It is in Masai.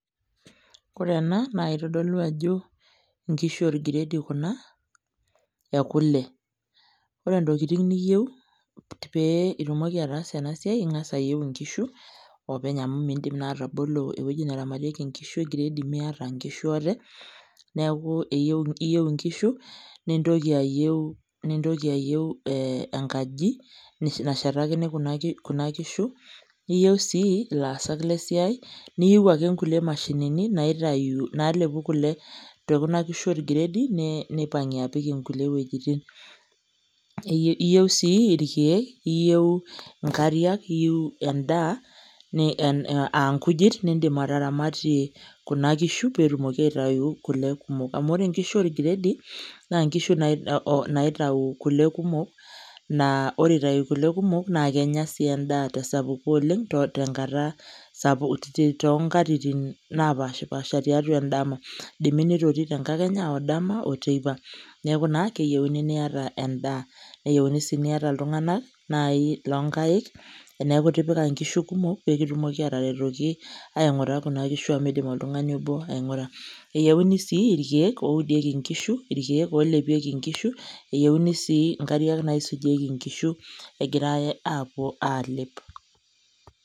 Ore ena, naa itodolu ajo inkishu orgredi kuna ekule. Ore ntokiting niyieu pee itumoki ataasa enasiai, ing'asa ayieu inkishu, openy amu midim naa atabolo ewueji neramatieki nkishu egredi miata nkishu ate, neeku iyieu inkishu, nintoki ayieu enkaji nashetakini kuna kishu, niyieu si ilaasak lesiai, niyieu ake nkulie mashinini naitayu nalepu kule tokuna kishu orgredi, nipang'ie apik inkulie wuejiting. Iyieu si irkeek, iyieu inkariak, iyieu endaa ankujit nidim ataramatie kuna kishu petumoki aitayu kule kumok. Amu ore nkishu orgredi, na nkishu naitau kule kumok, naa ore itau kule kumok, na kenya si endaa tesapuko oleng, tenkata sapuk tonkatitin napashipasha tiatua edama. Idimi nitotii tenkakenya, odama oteipa. Neeku naa keyieuni niata endaa. Neyieuni si niata iltung'anak nai lonkaik eneeku itipika nkishu kumok pekitumoki ataretoki aing'ura kuna kishu amu midim oltung'ani obo aing'ura. Eyieuni si irkeek oudieki nkishu, irkeek olepieki nkishu, eyieuni si nkariak naisujieki nkishu egirai apuo alep.